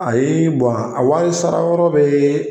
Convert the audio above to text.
Ayi a wari sara yɔrɔ bɛ